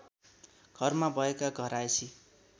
घरमा भएका घरायसी